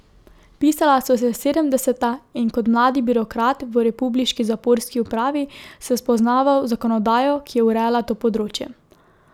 Pisala so se sedemdeseta in kot mladi birokrat v republiški zaporski upravi sem spoznaval zakonodajo, ki je urejala to področje.